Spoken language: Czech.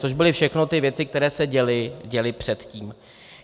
Což byly všechny ty věci, které se děly předtím.